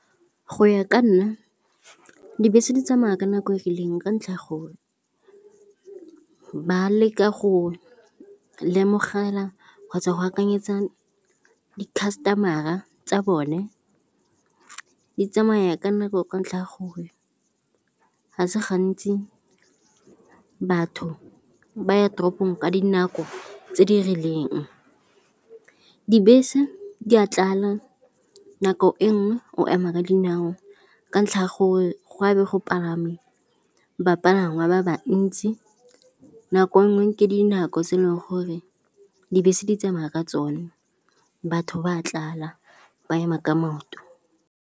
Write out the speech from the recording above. Go ya ka nna dibese di tsamaya ka nako e rileng ka ntlha ya go ba leka go lemogela kgotsa go akanyetsa di customer-a tsa bone. Di tsamaya ka nako ka ntlha ya gore ga se gantsi batho ba ya toropong ka dinako tse di rileng. Dibese di a tlala, nako e nngwe o ema ka dinao ka ntlha gore go a be go palame bapalangwa ba ba ntsi, nako nngwe ke dinako tse e leng gore dibese di tsamaya ka tsone. Batho ba tlala, ba ema ka maoto.